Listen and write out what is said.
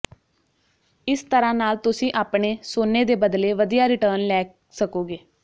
ਇਸ ਤਰ੍ਹਾਂ ਨਾਲ ਤੁਸੀਂ ਆਪਣੇ ਸੋਨੇ ਦੇ ਬਦਲੇ ਵਧੀਆ ਰਿਟਰਨ ਲੈ ਸਕੋਗੇ